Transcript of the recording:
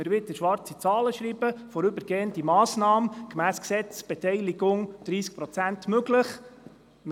Man sprach von einer vorübergehenden Massnahme, also einer Massnahme, die so lange dauert, bis wir wieder schwarze Zahlen schreiben.